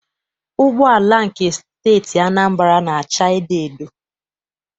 Ụgbọala nke Steeti Anambra na- acha edoedo.